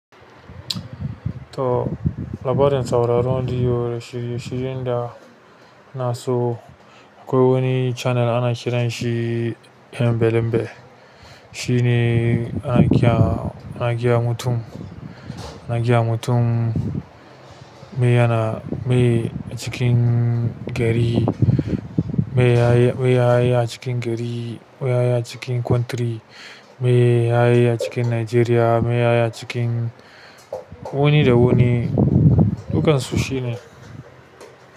To labarin sauraron radiyo da shirye-shiryen da ina so akwai wani channel ana kiran shi hembe lembe. Shine ana gaya, ana gaya mutum, ana gayawa mutum me yana, me cikin gari, me ya, me yaya cikin gari, me ya yaya cikin country, me ya yaya cikin Nigeria, me yaya cikin wuni da wuni, dukkan su shine.